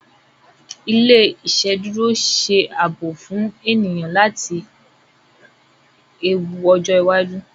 ilé iṣeduro ṣe ààbò fún ènìyàn láti ewu ojo iwájú.